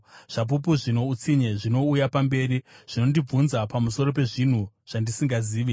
Zvapupu zvino utsinye zvinouya mberi; zvinondibvunza pamusoro pezvinhu zvandisingazivi.